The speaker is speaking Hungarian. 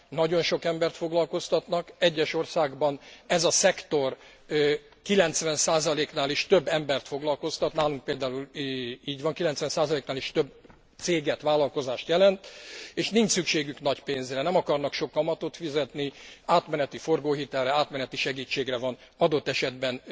Nagyon sok embert foglalkoztatnak, egyes országokban ez a szektor 90 nál is több embert foglalkoztat, nálunk például így van, 90 nál is több céget, vállalkozást jelent, és nincs szükségük nagy pénzre, nem akarnak sok kamatot fizetni, átmeneti forgóhitelre, átmeneti segítségre van adott esetben